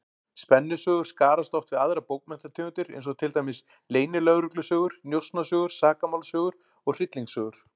Spennusögur skarast oft við aðrar bókmenntategundir, eins og til dæmis leynilögreglusögur, njósnasögur, sakamálasögur og hryllingssögur.